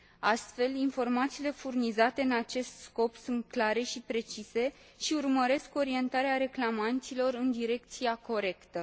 Astfel, informațiile furnizate în acest scop sunt clare și precise și urmăresc orientarea reclamanților în direcția corectă.